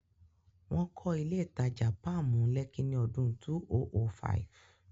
Wọ́n kọ́ ilé ìtajà Páàmù, Lẹ́kí ní ọdún 2005.